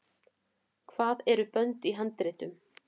hvað eru bönd í handritum